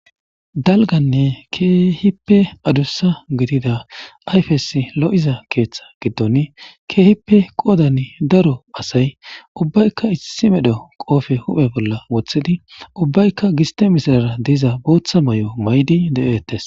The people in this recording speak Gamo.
Daligane keehipe adussa gidida ayifes looiza keetha giidon keehipe qoodan daro asayi ubayika issi medho koofiya huuphe bolla wootidi ubayika giiste misatiza boota maayo mayidi deates.